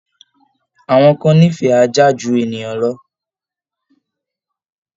Àwọn kan nífẹ̀ẹ́ ajá ju ènìyàn lọ